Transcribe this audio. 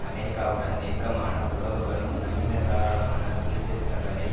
அமெரிக்காவுடன் நெருக்கமான உறவுகளும் நவீனதாராளமான தீர்திருத்தங்களை